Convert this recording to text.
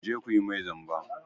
Ku je ku yi mai zamba!